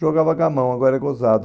Jogava gamão, agora é gozado.